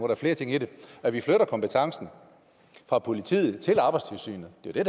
der flere ting i det og at vi flytter kompetencen fra politiet til arbejdstilsynet det er jo